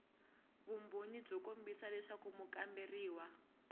vumbhoni byo kombisa leswaku mukamberiwa